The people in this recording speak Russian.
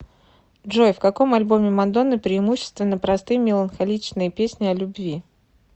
джой в каком альбоме мадонны преимущественно простые меланхоличные песни о любви